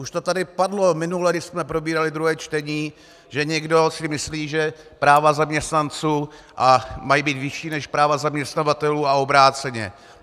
Už to tady padlo minule, když jsme probírali druhé čtení, že někdo si myslí, že práva zaměstnanců mají být vyšší než práva zaměstnavatelů a obráceně.